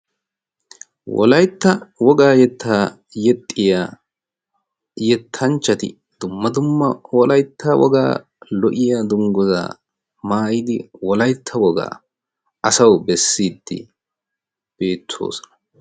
wolaitta wogaa yettaa yexxiya yettanchchati dumma dumma wolaitta wogaa lo77iya dungguzzaa maayidi wolaitta wogaa asawu bessiiddi beettoosona.